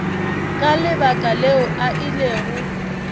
ka lebaka leo a ilego